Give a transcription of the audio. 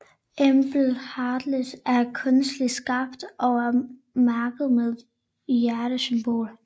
Emblem Heartless er kunstigt skabt og er mærket med et hjertesymbol